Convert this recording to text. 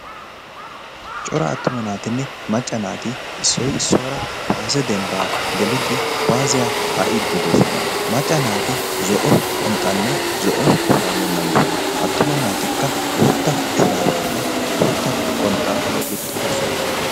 cora attuma naatinne macca naati issoy issuwaara kuwaase dembbaa gelidi kuwaassiyaa kaa'iiddi doosona. macca naati zo'o qonxxaanne zo'o shuraabiyaa mayiisona. attuma naatikka bootta shuraabiyaanne bootta qonxxaa gixxidosona.